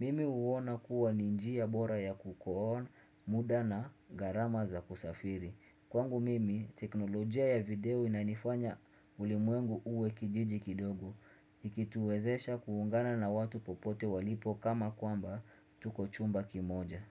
Mimi huona kuwa ni njia bora ya kukol muda na gharama za kusafiri. Kwangu mimi, teknolojia ya video inafanya ulimwengu uwe kijiji kidogo. Ikituwezesha kuungana na watu popote walipo kana kwamba tuko chumba kimoja.